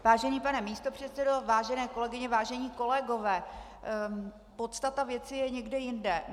Vážený pane místopředsedo, vážené kolegyně, vážení kolegové, podstata věci je někde jinde.